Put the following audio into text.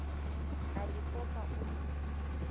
a le popa o ne